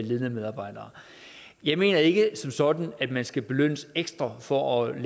ledende medarbejdere jeg mener ikke som sådan at man skal belønnes ekstra for at